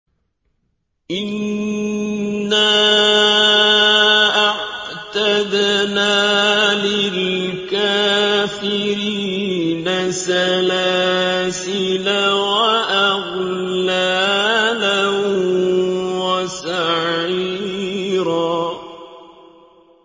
إِنَّا أَعْتَدْنَا لِلْكَافِرِينَ سَلَاسِلَ وَأَغْلَالًا وَسَعِيرًا